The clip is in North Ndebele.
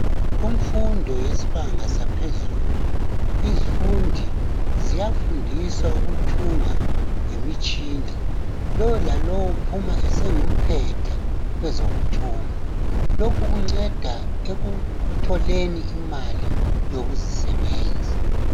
kumfundo yesbanga yaphezulu izifundi ziyafundiswa ukuthunga ngemitshina lolalo uphuma sengumphetha kwezokuthunga lokho kunceda ekutholeni imali yokuzisebenza